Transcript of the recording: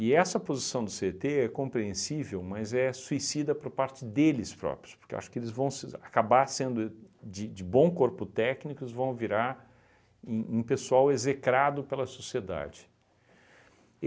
E essa posição do cê e tê é compreensível, mas é suicida por parte deles próprios, porque acho que eles vão se acabar sendo de de bom corpo técnicos vão virar um um pessoal execrado pela sociedade.